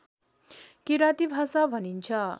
किराँती भाषा भनिन्छ